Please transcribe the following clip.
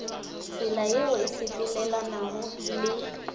tsela yeo e sepelelanago le